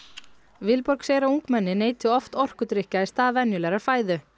Vilborg segir að ungmenni neyti oft orkudrykkja í stað venjulegrar fæðu